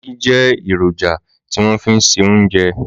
Màgí jè irójà tiwòn fi n sé óoùnjé